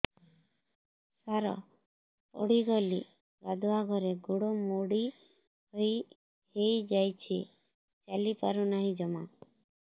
ସାର ପଡ଼ିଗଲି ଗାଧୁଆଘରେ ଗୋଡ ମୋଡି ହେଇଯାଇଛି ଚାଲିପାରୁ ନାହିଁ ଜମା